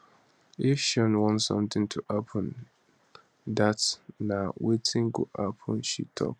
if sean want something to happen dat na wetin go happen she tok